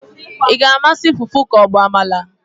ị ga-amasị fufu ka ọ bụ amala?